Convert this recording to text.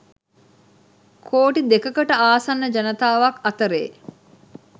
කෝටි දෙකකට ආසන්න ජනතාවක් අතරේ